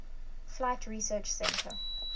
flight research center